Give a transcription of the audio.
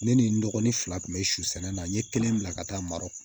Ne ni n dɔgɔnin fila kun be su sɛnɛ na n ye kelen bila ka taa marɔku